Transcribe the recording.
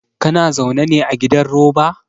Kana zaune ne a gidan roba?